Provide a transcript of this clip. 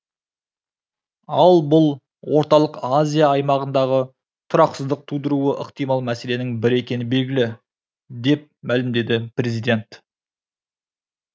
ал бұл орталық азия аймағындағы тұрақсыздық тудыруы ықтимал мәселенің бірі екені белгілі деп мәлімдеді президент